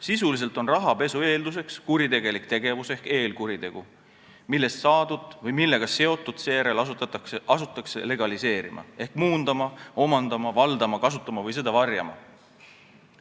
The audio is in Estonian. Sisuliselt on rahapesu eelduseks kuritegelik tegevus ehk eelkuritegu, millest saadut või millega seotut asutakse seejärel legaliseerima ehk muundama, omandama, valdama, kasutama või varjama.